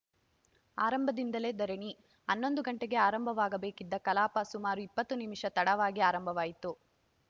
ಆರಂಭದಿಂದಲೇ ಧರಣಿ ಹನ್ನೊಂದು ಗಂಟೆಗೆ ಆರಂಭವಾಗಬೇಕಿದ್ದ ಕಲಾಪ ಸುಮಾರು ಇಪ್ಪತ್ತು ನಿಮಿಷ ತಡವಾಗಿ ಆರಂಭವಾಯಿತು